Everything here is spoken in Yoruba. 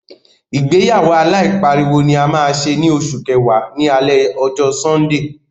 Ìgbéyàwó aláìpariwo ni a máa ṣe ní oṣù kẹwàá, ní alẹ ọjọ́ Sọ́ńdè.